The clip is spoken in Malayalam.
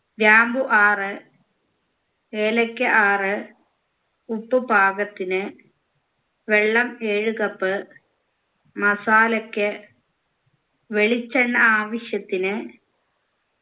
ഗ്രാമ്പൂ ആറ്‍ ഏലക്ക ആറ് ഉപ്പ് പാകത്തിന് വെള്ളം ഏഴ് cup masala ക്ക് വെളിച്ചെണ്ണ ആവശ്യത്തിന്